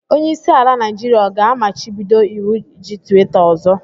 Onye isi ala Naijiria ọ ga-amachibido iwu iji twita ọzọ?